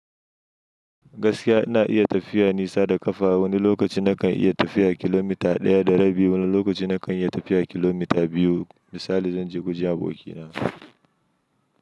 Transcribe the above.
Gaskiya ina iya tafiya nisa da ƙafa. Wani lokaci na kan iya tafiya kilomita ɗaya da rabi, wani lokaci na kan iya tafiya kilomita biyu. Misali zan je wajen abokina.